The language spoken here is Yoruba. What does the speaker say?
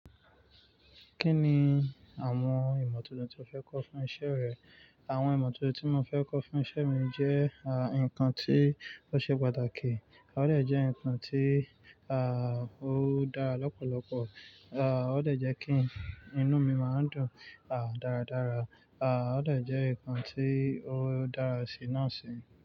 Kí ni àwọn ìmọ̀ titun tí o fẹ́ kọ́ fún iṣẹ́ rẹ? Àwọn ìmọ̀ titun tí mo fẹ́ kọ́ fún iṣẹ́ mi jẹ́ nǹkan tí ó ṣe pàtàkì. Ó dẹ jẹ́ nǹkan tí, ó dára lọ́pọ̀lọpọ̀. À, ó lè jẹ́ kí inú mi máa dùn, à, dáradára. Ó dẹ jẹ́ nǹkan tí ó dára sí náà sì.